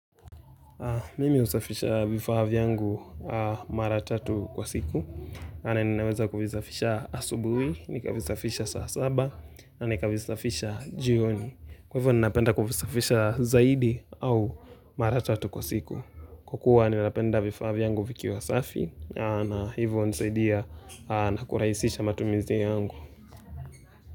Mimi husafisha vifaa vyangu mara tatu kwa siku. Pale ninaweza kuvisafisha asubuhi, nikavisafisha saa saba, na nikavisafisha jioni. Kwa hivyo ninapenda kuvisafisha zaidi au mara tatu kwa siku. Kukua ninapenda vifaa vyangu vikiwa safi, na hivyo hunisaidia na kuraisisha matumizi yangu.